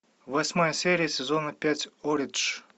восьмая серия сезона пять оридж